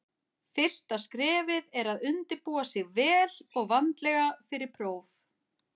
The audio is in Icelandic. Fyrsta skrefið er að undirbúa sig vel og vandlega fyrir próf.